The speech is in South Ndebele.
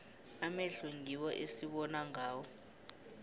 amehlo ngiwo esibona ngawo